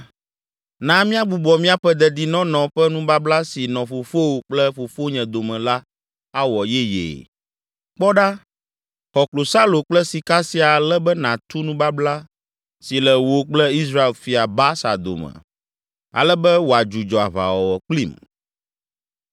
“Na míagbugbɔ míaƒe dedinɔnɔ ƒe nubabla si nɔ fofowò kple fofonye dome la awɔ yeyee. Kpɔ ɖa, xɔ klosalo kple sika sia ale be nàtu nubabla si le wò kple Israel fia, Baasa dome ale be wòadzudzɔ aʋawɔwɔ kplim.”